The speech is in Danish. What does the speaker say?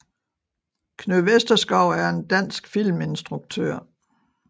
Knud Vesterskov er en dansk filminstruktør